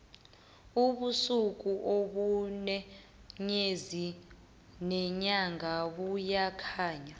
ubusuku ubune nyezi nenyanga buyakhanya